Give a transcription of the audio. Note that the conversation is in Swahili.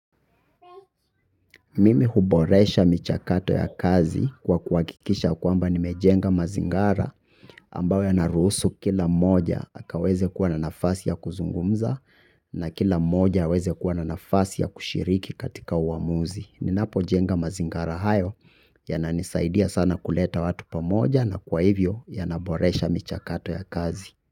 Mimi huboresha michakato ya kazi kwa kuwahikikisha kwamba nimejenga mazingara ambayo yanaruhusu kila mmoja akaweze kuwa na nafasi ya kuzungumza na kila mmoja aweze kuwa na nafasi ya kushiriki katika uamuzi. Ninapojenga mazingara hayo yananisaidia sana kuleta watu pamoja na kwa hivyo yanaboresha michakato ya kazi.